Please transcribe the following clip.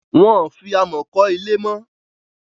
wón fí amo kò ilé mọ Ilé